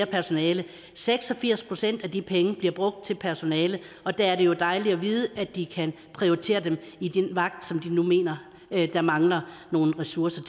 personale seks og firs procent af de penge bliver brugt til personale og der er det jo dejligt at vide at de kan prioritere dem i den vagt som de nu mener der mangler nogle ressourcer